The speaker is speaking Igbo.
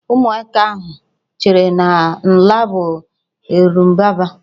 Ụmụaka ahụ cheere na Ǹlá bụ Erembụbara